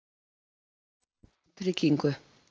Vill hann tryggingu?